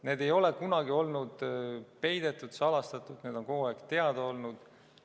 Need ei ole kunagi olnud peidetud, salastatud, need on kogu aeg teada olnud.